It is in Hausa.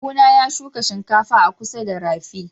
kawu na ya shuka shinkafa a kusa da rafi.